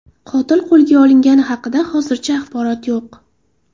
Qotil qo‘lga olingani haqida hozircha axborot yo‘q.